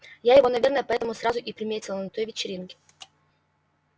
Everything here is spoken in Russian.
я его наверное поэтому сразу и приметила на той вечеринке